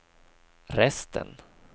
resten